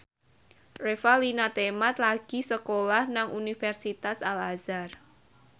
Revalina Temat lagi sekolah nang Universitas Al Azhar